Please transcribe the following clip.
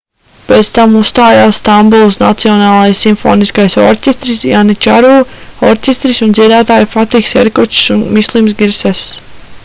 pēc tam uzstājās stambulas nacionālais simfoniskais orķestris janičāru orķestris un dziedātāji fatihs erkočs un mislims girsess